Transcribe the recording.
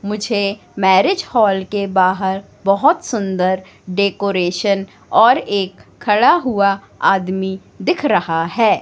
मुझे marriage hall के बाहर बहुत सुंदर डेकोरेशन और एक खड़ा हुआ आदमी दिख रहा है।